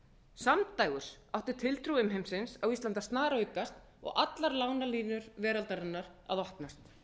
samdægurs átti tiltrú umheimsins á íslandi að snaraukast og allar lánalínur veraldarinnar að opnast